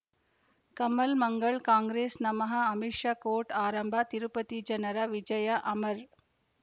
ಕಮಲ್ ಮಂಗಳ್ ಕಾಂಗ್ರೆಸ್ ನಮಃ ಅಮಿಷ್ ಕೋರ್ಟ್ ಆರಂಭ ತಿರುಪತಿ ಜನರ ವಿಜಯ ಅಮರ್